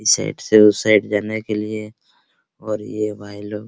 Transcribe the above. इस साइड से उस साइड जाने के लिए और यो भाई लो।